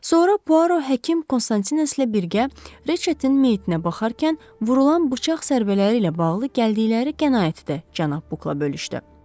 Sonra Puaro həkim Konstantineslə birgə Reçetin meyitnə baxarkən vurulan bıçaq zərbələri ilə bağlı gəldikləri qənaətidir, cənab Bukla bölüşdü.